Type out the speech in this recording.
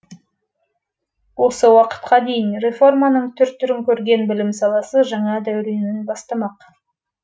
осы уақытқа дейін реформаның түр түрін көрген білім саласы жаңа дәуренін бастамақ